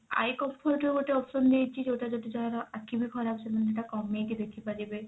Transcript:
eye comfort ର ଗୋଟେ option ଦେଇଛି ଯଉଟା ଯଉଟା ଯାହାର ଆଖି ଖରାପ ସେମାନେ ସେଟା କମେଇକି ଦେଖିପାରିବେ